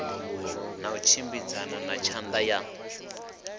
na tshimbidzana na tshatha ya